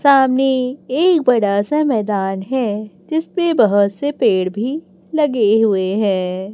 सामने एक बड़ा सा मैदान है जिसपे बहोत से पेड़ भी लगे हुए हैं।